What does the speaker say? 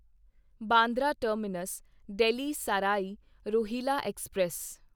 Bandra terminus Delhi Sarai Rohilla express